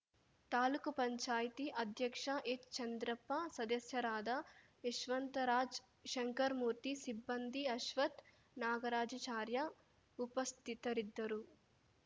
ತಾಲೂಕು ಪಂಚಾಯತಿ ಅಧ್ಯಕ್ಷ ಎಚ್‌ಚಂದ್ರಪ್ಪ ಸದಸ್ಯರಾದ ಯಶವಂತರಾಜ್‌ ಶಂಕರ್ ಮೂರ್ತಿ ಸಿಬ್ಬಂದಿ ಅಶ್ವಥ್‌ ನಾಗರಾಜಚಾರ್ಯ ಉಪಸ್ಥಿತರಿದ್ದರು